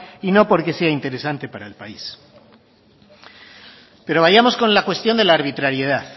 y no porque sea interesante para el país pero vayamos con la cuestión de la arbitrariedad